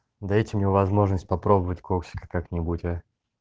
дайте мне возможность попробовать коксиль как-нибудь а